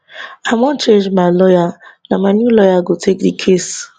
i wan change my lawyer na my new lawyer go take di case